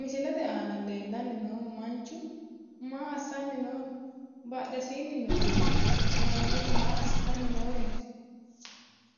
Misilete aana leellanni noohu manchu maa assanni nooho? Badhesiinni noorino mannootu maa assitanni nooreeti?